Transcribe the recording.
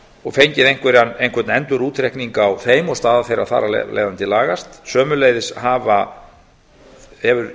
og fengið einhvern endurútreikning á þeim og staða þeirra þar af leiðandi lagast sömuleiðis hefur